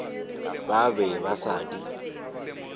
ba be ba sa di